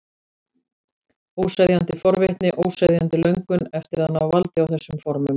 Óseðjandi forvitni, óseðjandi löngun eftir að ná valdi á þessum formum.